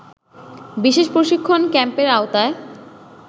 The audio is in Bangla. বিশেষ প্রশিক্ষণ ক্যাম্পের আওতায়